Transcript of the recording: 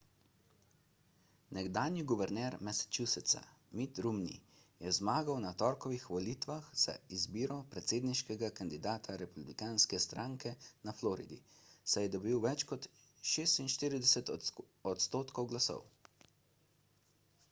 nekdanji guverner massachusettsa mitt romney je zmagal na torkovih volitvah za izbiro predsedniškega kandidata republikanske stranke na floridi saj je dobil več kot 46 odstotkov glasov